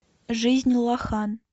жизнь лоха